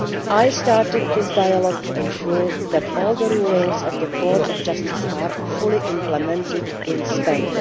I started this dialogue to ensure that all of the rulings of the Court of Justice are fully implemented in Spain.